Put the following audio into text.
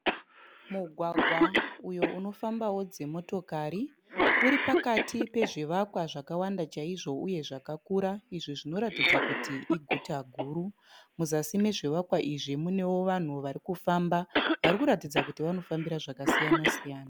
Mugwagwa uyo unofambawo dzimotokari. Uripakati pezvivakwa zvakawanda chaizvo uye zvakakura izvo zvinoratidza kuti iguta guru. Muzasi mezvivakwa izvi munewo vanhu varikufamba varikuratidza kuti vanofambira zvakasiyana siyana.